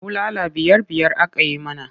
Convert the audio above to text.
Bulala biyar-biyar aka yi mana.